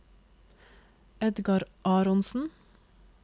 Edgar Aronsen